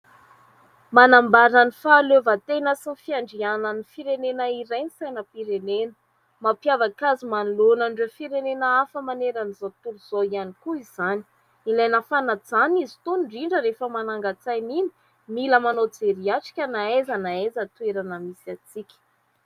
Manambara ny fahaleovan-tena sy ny fiandrianan'ny firenena iray ny sainam-pirenena. Mampiavaka azy manoloana an'ireo firenena hafa maerana an'izao tontolo izao ihany koa izany. Ilaina fanajana izy itony, indrindra rehefa manangan-tsaina iny, mila manao jery atrika na aiza na aiza toerana misy antsika.